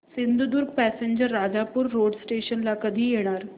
Sindhudurg passenger Rajapur road station ला कधी येणार